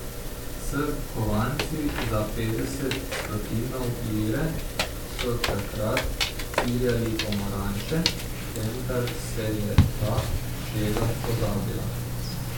S kovanci za petdeset stotinov lire so takrat ciljali pomaranče, vendar se je ta šega pozabila.